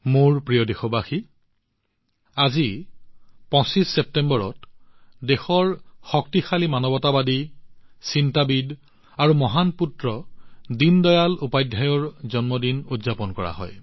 মোৰ মৰমৰ দেশবাসীসকল আজি ২৫ ছেপ্টেম্বৰত দেশৰ শক্তিশালী মানৱতাবাদী চিন্তাবিদ আৰু মহান পুত্ৰ দীনদয়াল উপাধ্যায়জীৰ জন্মদিন উদযাপন কৰা হয়